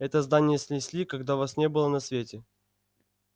это здание снесли когда вас не было на свете